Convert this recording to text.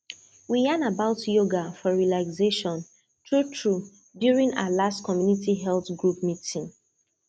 we yan about yoga for relaxation truetrue during our last community health group meeting